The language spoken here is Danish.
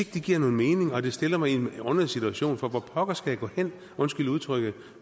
det giver nogen mening og det stiller mig i en underlig situation for hvor pokker skal jeg gå hen undskyld udtrykket